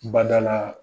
Badala